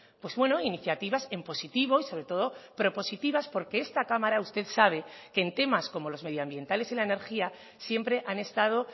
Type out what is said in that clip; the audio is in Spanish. pues bueno iniciativas en positivo y sobre todo propositivas porque esta cámara usted sabe que en temas como los medioambientales y la energía siempre han estado